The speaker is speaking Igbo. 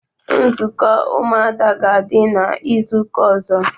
Nzukọ ụmụada ga adi n'izuka ozo